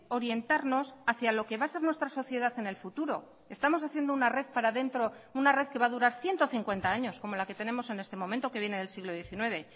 orientarnos hacía lo que va a ser nuestra sociedad en el futuro estamos haciendo una red para dentro una red que va a durar ciento cincuenta años como la que tenemos en este momento que viene del siglo diecinueve